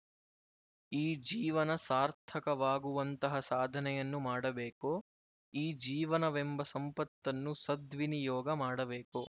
ಈ ಜೀವನ ಸಾರ್ಥಕವಾಗುವಂತಹ ಸಾಧನೆಯನ್ನು ಮಾಡಬೇಕು ಈ ಜೀವನವೆಂಬ ಸಂಪತ್ತನ್ನು ಸದ್ವಿನಿಯೋಗ ಮಾಡಬೇಕು